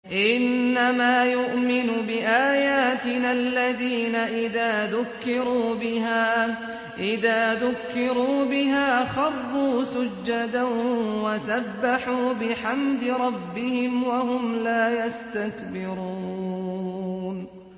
إِنَّمَا يُؤْمِنُ بِآيَاتِنَا الَّذِينَ إِذَا ذُكِّرُوا بِهَا خَرُّوا سُجَّدًا وَسَبَّحُوا بِحَمْدِ رَبِّهِمْ وَهُمْ لَا يَسْتَكْبِرُونَ ۩